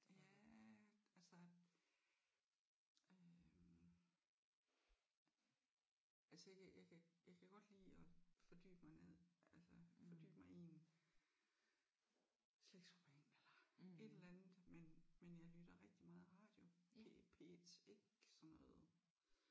Ja altså øh altså jeg kan jeg kan jeg kan godt lide at fordybe mig ned altså fordybe mig i en slægtsroman eller et eller andet men men jeg lytter rigtig meget radio det er P1 ikke sådan noget